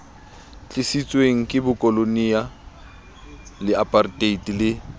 tlisitsweng ke bokoloniale aparteite le